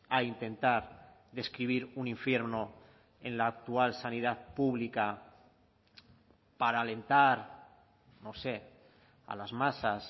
a intentar describir un infierno en la actual sanidad pública para alentar no sé a las masas